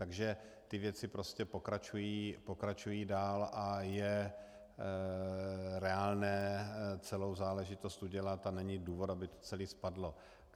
Takže ty věci prostě pokračují dál a je reálné celou záležitost udělat a není důvod, aby to celé spadlo.